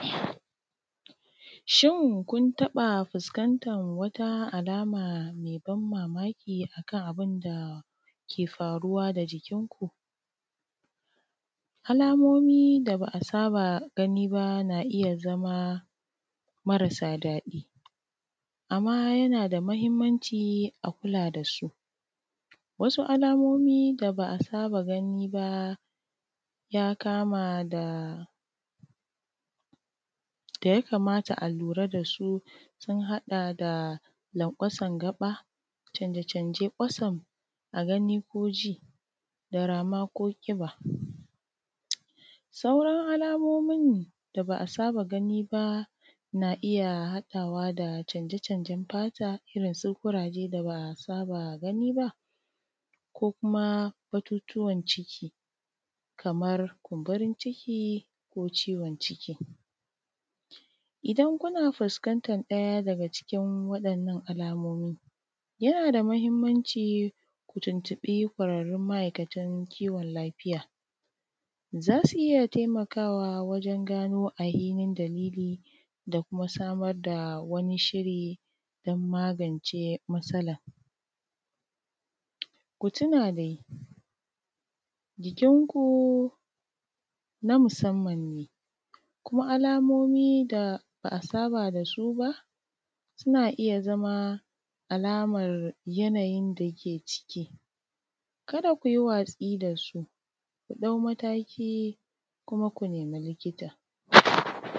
Shin kun taƃa fuskantar wata alama mai ban mamaki a kan abin da ke faruwa da jikinku? Alamomi da ba a saba gani ba na iya zama marasa daɗi amma yana da mahimmanci a kula da su wasu alamomi da ba a saba da su ba da ya kama da da ya kamata a lura da su sun haɗa da lanƙwasar gaƃa, canje-canje kwatsam a gani ko ji da rama ko ƙiba Sauran alamomin da ba a saba gani ba na iya haɗawa da canje-canjen fata irin su ƙuraje da ba a saba gani ba ko kuma batutuwan ciki kamar kumburin ciki ko ciwon ciki idan kuna fuskantar ɗaya daga cikin waɗannan alamomi, yana da mahimmanci ku tuntuƃi ƙwararrun ma’aikatan kiwon lafiya za su iya taimakawa wajen gano ahinin dalili da kuma samar da wani shiri dan magance matsalan. Ku tuna dai, jikinku na musamman ne, kuma alamomi da ba a saba da su ba suna iya zama alamar yanayin da ke ciki, kada ku yi watsi da su, ku ɗau mataki kuma ku nemi likita.